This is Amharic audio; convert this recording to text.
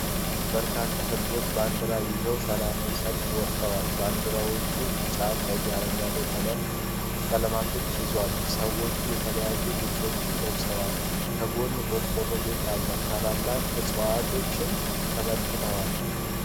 በርካታ ህዝቦች ባንድራ ይዘው ሰላማዊ ሰልፍ ወጥተዋል። ባንድራዎቹ ቢጫ፣ ቀይ፣ አረንጓዴ ቀለማቶችን ይዟል። ሰዎቹ የተለያዩ ልብሶችን ለብሰዋል። ከጎን ቆርቆር ቤት አለ። ታላላቅ ዕፅዋቶችም ተመልክተዋል።